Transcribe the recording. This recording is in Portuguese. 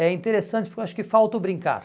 É interessante porque eu acho que falta o brincar.